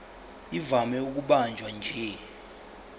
ivame ukubanjwa nje